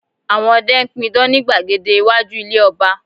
Àwọn ọdẹ n pidán ni gbàgede iwájú ilé ọba